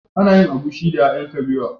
Ana yin egusi da ƴaƴan kabewa.